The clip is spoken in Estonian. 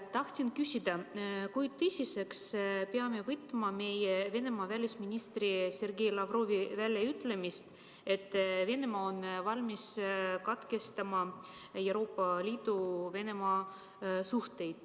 Tahtsin küsida, kui tõsiselt me peame suhtuma Venemaa välisministri Sergei Lavrovi väljaütlemisse, et Venemaa on valmis katkestama suhted Euroopa Liiduga.